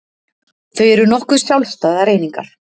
Þau eru nokkuð sjálfstæðar einingar